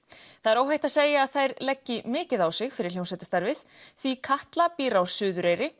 það er óhætt að segja að þær leggi mikið á sig fyrir hljómsveitarstarfið því Katla býr á Suðureyri